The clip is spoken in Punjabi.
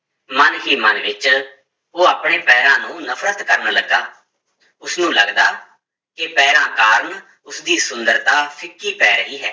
ਮਨ ਹੀ ਮਨ ਵਿੱਚ ਉਹ ਆਪਣੇ ਪੈਰਾਂ ਨੂੰ ਨਫ਼ਰਤ ਕਰਨ ਲੱਗਾ, ਉਸਨੂੰ ਲੱਗਦਾ ਕਿ ਪੈਰਾਂ ਕਾਰਨ ਉਸਦੀ ਸੁੰਦਰਤਾ ਫਿਕੀ ਪੈ ਰਹੀ ਹੈ।